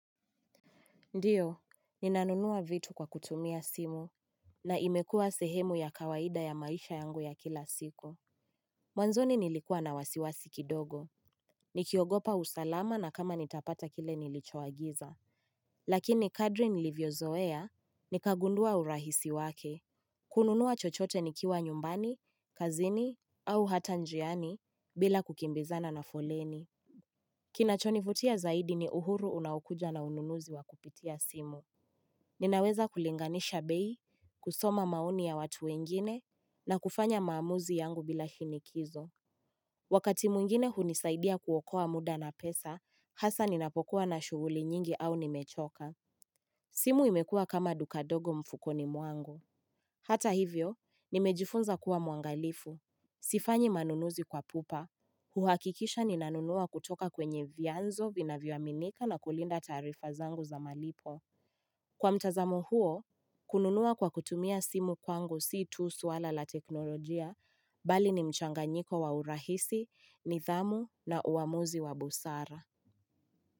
Ndio, ninanunua vitu kwa kutumia simu, na imekua sehemu ya kawaida ya maisha yangu ya kila siku. Mwanzoni nilikuwa na wasiwasi kidogo. Nikiogopa usalama na kama nitapata kile nilichoagiza. Lakini Kadri nilivyozoea, nikagundua urahisi wake. Kununua chochote nikiwa nyumbani, kazini, au hata njiani, bila kukimbizana na foleni. Kinachonivutia zaidi ni uhuru unaokuja na ununuzi wa kupitia simu. Ninaweza kulinganisha bei, kusoma maoni ya watu wengine, na kufanya maamuzi yangu bila shinikizo Wakati mwingine hunisaidia kuokoa muda na pesa, hasa ninapokuwa na shughuli nyingi au nimechoka simu imekuwa kama duka ndogo mfukoni mwangu Hata hivyo, nimejifunza kuwa muangalifu Sifanyi manunuzi kwa pupa huhakikisha ninanunua kutoka kwenye vyanzo vinavyoaminika na kulinda tarifa zangu za malipo Kwa mtazamo huo kununua kwa kutumia simu kwangu si tu swala la teknolojia bali ni mchanganyiko wa urahisi, nidhamu na uamuzi wa busara.